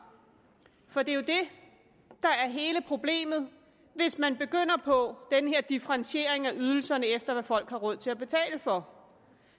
for det er jo det der er hele problemet hvis man begynder på den her differentiering af ydelserne efter hvad folk har råd til at betale for